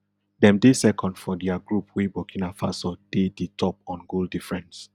dem dey second for dia group wey burkina faso dey di top on goal difference